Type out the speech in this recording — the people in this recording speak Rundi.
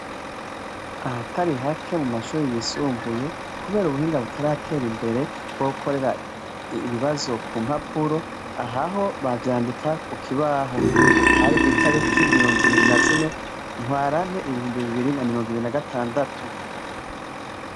Ahatari hake mu mashuri yisumbuye kubera ubuhinga butaratera imbere bwo gukorera ibibazo ku mpapuro, aha ho bavyandika ku kibaho, hari kw'itariki mirongo ibiri na zine ntwarane ibihumbi bibiri na mirongo ibiri na gatandatu.